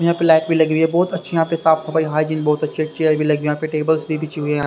यहां पे लाइट भी लगी हुई है बहुत अच्छी यहां पे साफ सफाई हाइजन बहुत अच्छी है चेयर भी लगी हुई यहां पे टेबल्स भी बिछी हुई है।